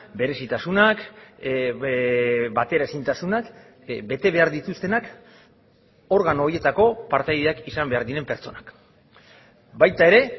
berezitasunak bateraezintasunak bete behar dituztenak organo horietako partaideak izan behar diren pertsonak baita ere